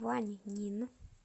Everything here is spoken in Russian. ваньнин